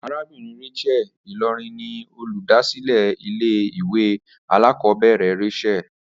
Arabìnrin Rachael Ìlòrí ni olùdásílé ilé ìwé alákòóbèrè Rachael